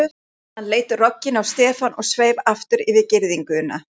Hann leit rogginn á Stefán og sveif aftur yfir girðinguna.